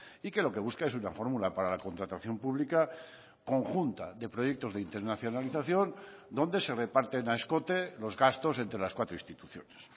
y que lo que busca es una fórmula para la contratación pública conjunta de proyectos de internacionalización donde se reparten a escote los gastos entre las cuatro instituciones